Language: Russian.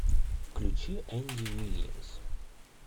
включи энди вильямс